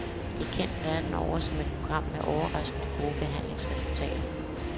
Det er kendt verden over som et program med overraskende gode behandlingsresultater.